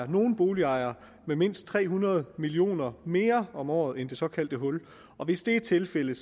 nogle boligejere med mindst tre hundrede millioner mere om året end det såkaldte hul og hvis det er tilfældet